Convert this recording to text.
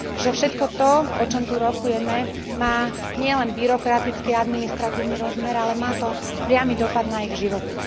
že všetko to, o čom tu rokujeme, má nielen byrokratický a administratívny rozmer, ale má to priamy dopad na ich životy.